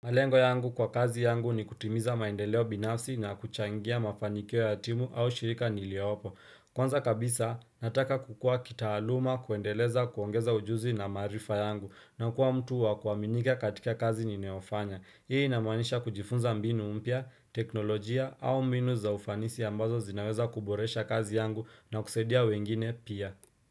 Malengo yangu kwa kazi yangu ni kutimiza maendeleo binafsi na kuchangia mafanikio ya timu au shirika niliopo. Kwanza kabisa, nataka kukua kitaaluma kuendeleza kuongeza ujuzi na maarifa yangu na kuwa mtu wa kuaminika katika kazi ninayofanya. Hii inamaanisha kujifunza mbinu mpya, teknolojia au mbinu za ufanisi ambazo zinaweza kuboresha kazi yangu na kusaidia wengine pia.